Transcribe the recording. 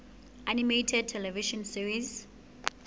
animated television series